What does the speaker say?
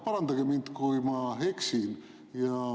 Parandage mind, kui ma eksin.